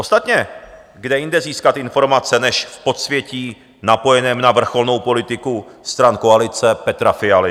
Ostatně kde jinde získat informace než v podsvětí napojeném na vrcholnou politiku stran koalice Petra Fialy?